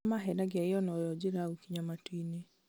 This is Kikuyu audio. nĩmamahenagia ĩyo noyo njĩra ya gũkinya matuinĩ